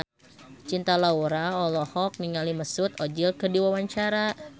Cinta Laura olohok ningali Mesut Ozil keur diwawancara